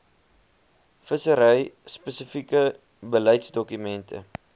vissery spesifieke beleidsdokumente